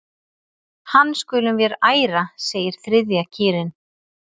Hann skulum vér æra segir þriðja kýrin.